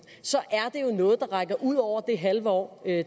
er det jo noget der rækker ud over det halve år